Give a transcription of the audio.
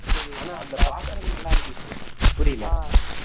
ஆனா அந்த பாக்குறது நல்லா இருந்துச்சு புரியல